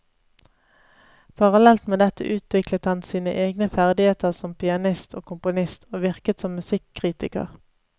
Parallelt med dette utviklet han sine egne ferdigheter som pianist og komponist, og virket som musikkritiker.